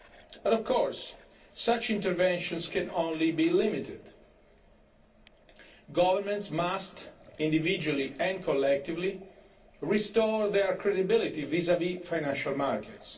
But of course, such interventions can only be limited. Governments must individually and collectively restore their credibility vis vis financial markets.